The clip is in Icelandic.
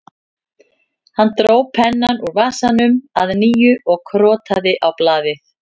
Hann dró pennann úr vasanum að nýju og krotaði á blaðið